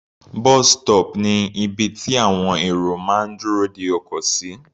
Bus stop ni ibi tí àwọn èrò máa ń dúró de ọkọ̀ sí.